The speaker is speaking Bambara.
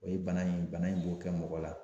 O ye bana in bana in b'o kɛ mɔgɔ la.